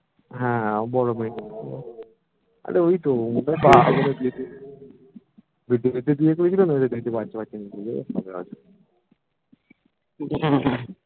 হ্যা বড়ো মেয়ে আরে ঐতো ওদের বেঁধে বেঁধে বিয়ে করেছিল না ঐজন্য দেরিতে বাচ্চা বাচ্চা নিয়েছে ওই হবে হয়তো